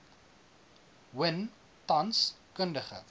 win tans kundige